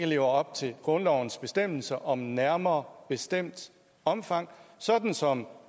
lever op til grundlovens bestemmelse om nærmere bestemt omfang sådan som